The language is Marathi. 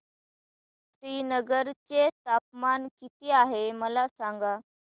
श्रीनगर चे तापमान किती आहे मला सांगा